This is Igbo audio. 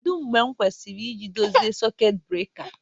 Kedu mgbe m kwesịrị iji dochie sekit breka?